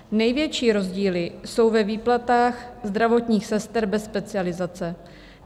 Největší rozdíly jsou ve výplatách zdravotních sester bez specializace.